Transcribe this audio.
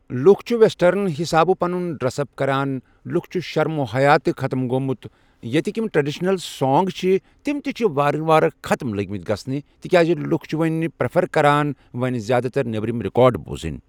لُکھ چھِ ویٚسٹٲرٕن حساب پنُن ڈرس اپ کران لُکن چھُ شرمو حیا تہِ ختٕم گوٚومُت یتیِکۍ یِم ٹرڈشنل سانٛگ چھِ تِم تہِ چھِ وار وار ختٕم لٔگمٕتۍ گژھنہِ تِکیازِ لُکھ چھِ وۄنۍ پرٮ۪فر کران وۄنۍ زیادٕ تر نیٚبرٕم رِکارڈ بوزٕنۍ